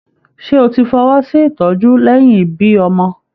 Ṣé o tí fọwọsi ìtọjú lẹyìn ibí ọmọ?